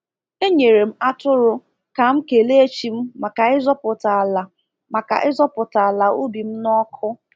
Enyere m atụrụ ka m kelee chi m maka ịzọpụta ala maka ịzọpụta ala ubi m n’ọkụ.